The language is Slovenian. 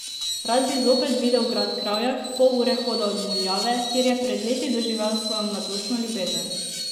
Rad bi zopet videl grad Kravjak, pol ure hoda od Muljave, kjer je pred leti doživel svojo mladostno ljubezen.